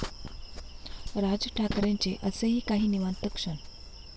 राज ठाकरेंचे असेही काही निवांत क्षण!